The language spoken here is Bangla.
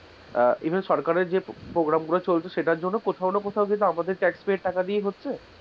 even সরকারের যে programme গুলো চলছে সেটারজন্য কোথাও না কোথাও আমাদের tax pay এর টাকা থেকেদিয়েই হচ্ছে,